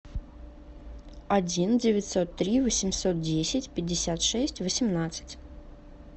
один девятьсот три восемьсот десять пятьдесят шесть восемнадцать